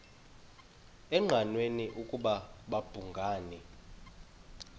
engqanweni ukuba babhungani